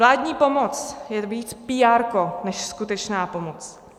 Vládní pomoc je víc píárko než skutečná pomoc.